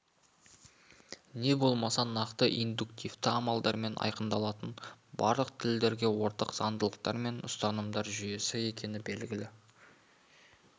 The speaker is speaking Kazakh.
не болмаса нақты индуктивті амалдармен айқындалатын барлық тілдерге ортақ заңдылықтар мен ұстанымдар жүйесі екені белгілі